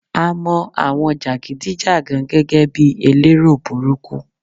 A mo àwọn jagidi jagan gẹ́gẹ́ bi elero burúkú